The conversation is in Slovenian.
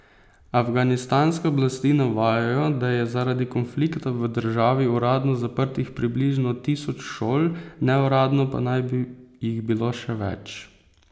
Afganistanske oblasti navajajo, da je zaradi konflikta v državi uradno zaprtih približno tisoč šol, neuradno pa naj bi jih bilo še več.